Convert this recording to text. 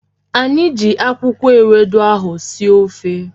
Anyị ji akwụkwọ ewedu ahụ sie ofe